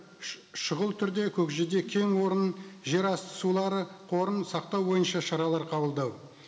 шұғыл түрде көкжиде кең орнын жерасты сулары қорын сақтау бойынша шаралар қабылдау